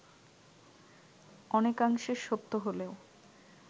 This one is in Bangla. অনেকাংশে সত্য হলেও